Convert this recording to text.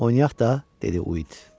Oynayaq da, dedi Uit.